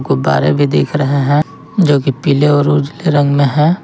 गुब्बारे भी देख रहे हैं जोकि पीले और उजाले रंग में है।